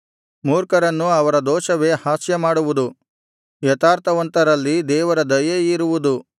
ಮೂರ್ಖರನ್ನು ಅವರ ದೋಷವೇ ಹಾಸ್ಯಮಾಡುವುದು ಯಥಾರ್ಥವಂತರಲ್ಲಿ ದೇವರ ದಯೆಯಿರುವುದು